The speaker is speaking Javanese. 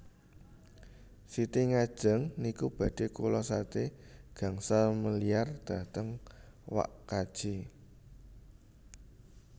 Siti ngajeng niku badhe kula sade gangsal miliar dhateng wak kaji